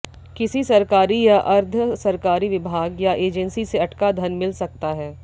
किसी सरकारी या अर्द्ध सरकारी विभाग या एजेंसी से अटका धन मिल सकता है